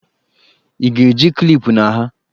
Ị ga-eji klipụ na ha!